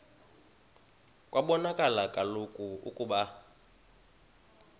kwabonakala kaloku ukuba